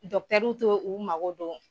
Dɔkitɛriw tɛ u mago don